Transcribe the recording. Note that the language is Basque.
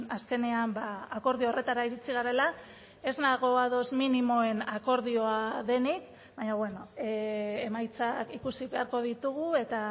azkenean akordio horretara iritxi garela ez nago ados minimoen akordioa denik baina beno emaitzak ikusi beharko ditugu eta